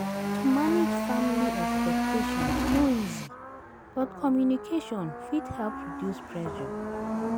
To manage family expectations no easy, but communication fit help reduce pressure.